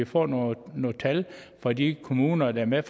få nogle tal fra de kommuner der er med